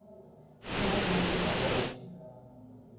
ho motho ofe kapa ofe